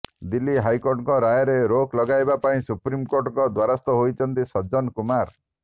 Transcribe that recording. ଦିଲ୍ଲୀ ହାଇକୋର୍ଟଙ୍କ ରାୟରେ ରୋକ ଲଗାଇବା ପାଇଁ ସୁପ୍ରିମକୋର୍ଟଙ୍କ ଦ୍ବାରସ୍ଥ ହୋଇଛନ୍ତି ସଜ୍ଜନ କୁମାର